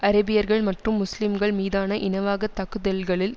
அரேபியர்கள் மற்றும் முஸ்லிம்கள் மீதான இனவாகத் தாக்குதல்களில்